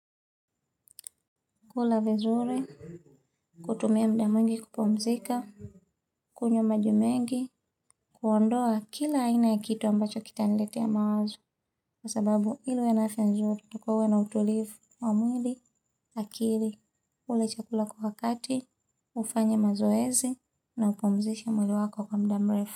Kula vizuri, kutumia muda mwingi kupumzika, kunywa maji mengi, kuondoa kila aina ya kitu ambacho kitaniletea mawazo. Kwa sababu ili uwe na afya nzuri, takiwa uwe na utulivu wa mwili, akili, ule chakula kwa wakati, ufanye mazoezi, na upumzishe mwili wako kwa muda mrefu.